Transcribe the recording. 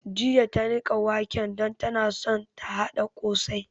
Jiya ta niƙa wake don tana so ta haɗa ƙosai